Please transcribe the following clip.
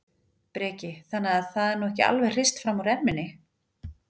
Breki: Þannig að það er nú ekki alveg hrist fram úr erminni?